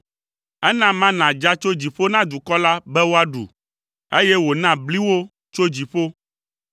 ena mana dza tso dziƒo na dukɔ la be woaɖu, eye wòna bli wo tso dziƒo.